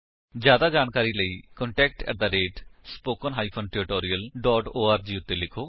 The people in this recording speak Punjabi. ਜਿਆਦਾ ਜਾਣਕਾਰੀ ਲਈ ਕੰਟੈਕਟ ਸਪੋਕਨ ਟਿਊਟੋਰੀਅਲ ਓਰਗ ਉੱਤੇ ਲਿਖੋ